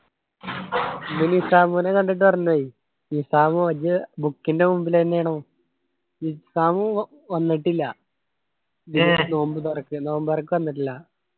പിന്നെ നിസാമുനെ കണ്ടിട്ട് മറന്നു പോയി നിസാം ഓൻ്റെ book ൻ്റെ മുമ്പിലന്നെ ആണ് നിസാം വന്നിട്ടില്ല നോമ്പ് തുറക്ക് നോമ്പ് തുറക്ക് വന്നിട്ടില്ല